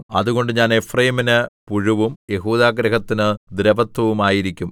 അതുകൊണ്ട് ഞാൻ എഫ്രയീമിന് പുഴുവും യെഹൂദാഗൃഹത്തിന് ദ്രവത്വവുമായിരിക്കും